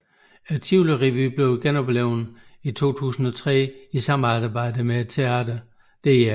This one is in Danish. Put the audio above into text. Tivoli Revyen blev genoplivet i 2003 i samarbejdet med teatret Dr